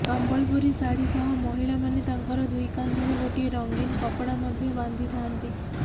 ସମ୍ବଲପୁରୀ ଶାଢୀ ସହ ମହିଳାମାନେ ତାଙ୍କର ଦୁଇକାନ୍ଧରେ ଗୋଟିଏ ରଙ୍ଗୀନ କପଡ଼ା ମଧ୍ୟ ବାନ୍ଧିଥାନ୍ତି